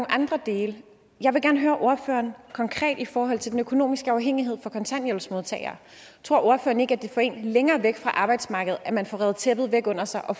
andre dele jeg vil gerne høre ordføreren konkret i forhold til den økonomiske afhængighed for kontanthjælpsmodtagere tror ordføreren ikke at det får en længere væk fra arbejdsmarkedet at man får revet tæppet væk under sig og